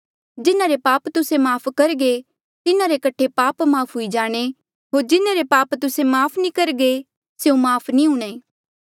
जिन्हारे पाप तुस्से माफ़ करघे तिन्हारे कठे पाप माफ़ हुई जाणे होर जिन्हारे पाप तुस्से माफ़ नी करघे स्यों माफ़ नी हूणे